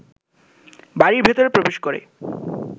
বাড়ির ভেতরে প্রবেশ করে